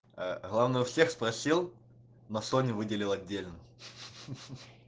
главное у всех спросил на соню выделил отдельно